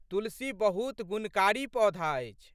तुलसी बहुत गुणकारी पौधा अछि।